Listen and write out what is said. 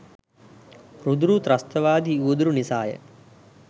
රුදුරු ත්‍රස්තවාදී උවදුරු නිසා ය.